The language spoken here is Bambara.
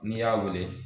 N'i y'a wele